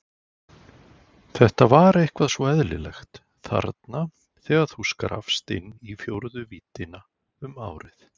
Þetta var eitthvað svo eðlilegt, þarna þegar þú skrappst inn í fjórðu víddina um árið.